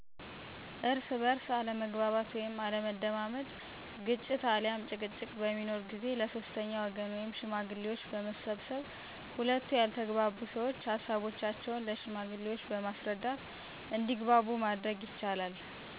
እርስ በእርስ አለመግባባት ወይም አለመደማመጥ ግጭት አልያም ጭቅጭቅ በሚኖር ጊዜ ለ ሶስተኛ ወገን ወይም ሽማግሌዎች በመሰብሰብ ሁለቱ ያልተግባቡ ሰዎች ሀሳቦቻቸውን ለ ሽማግሌዎች በማስረዳት እንዲግባቡ ማድረግ ይቻላል።